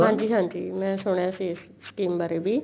ਹਾਂਜੀ ਹਾਂਜੀ ਮੈਂ ਸੁਣਿਆ ਸੀ ਇਸ scheme ਬਾਰੇ ਵੀ